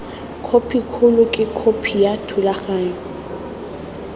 khopikgolo ke khopi ya thulaganyo